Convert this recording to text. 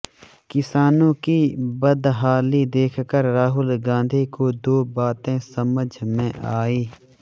किसानों की बदहाली देखकर राहुल गांधी को दो बातें समझ में आईं